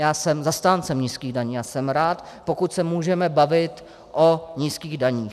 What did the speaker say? Já jsem zastáncem nízkých daní a jsem rád, pokud se můžeme bavit o nízkých daních.